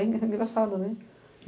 É engraçado, né?